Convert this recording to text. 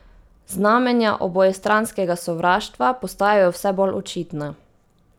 Znamenja obojestranskega sovraštva postajajo vse bolj očitna.